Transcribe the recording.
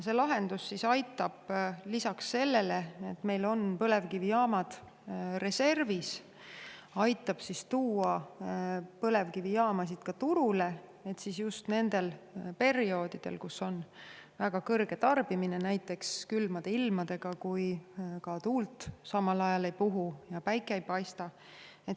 See lahendus aitab lisaks sellele, et meil on põlevkivijaamad reservis, tuua põlevkivijaamu turule just nendel perioodidel, kui on väga suur tarbimine, näiteks külmade ilmadega, kui samal ajal ka tuul ei puhu ja päike ei paista.